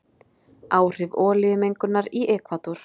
Áhrif olíumengunar í Ekvador.